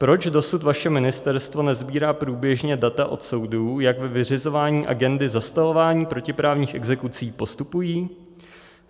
Proč dosud vaše ministerstvo nesbírá průběžně data od soudů, jak ve vyřizování agendy zastavování protiprávních exekucí postupují?